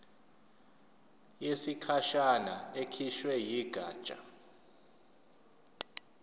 yesikhashana ekhishwe yigatsha